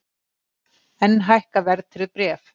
Enn hækka verðtryggð bréf